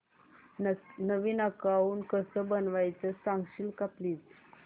नवीन account कसं बनवायचं सांगशील का प्लीज